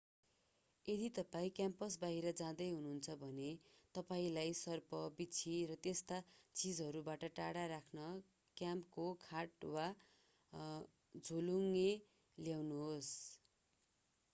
यदि तपाईं क्याम्प बाहिर जाँदै हुनुहुन्छ भने तपाईंलाई सर्प बिच्छी र त्यस्ता चीजहरूबाट टाढा राख्न क्याम्पको खाट वा झोलुङ्गो ल्याउनुहोस्